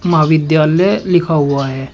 महा विद्यालय लिखा हुआ है।